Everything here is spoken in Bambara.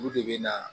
Olu de bɛ na